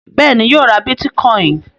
Bẹ́ẹ̀ ni, yóò ra bítíkọ́ìn.